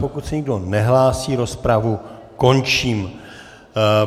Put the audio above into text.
Pokud se nikdo nehlásí, rozpravu končím.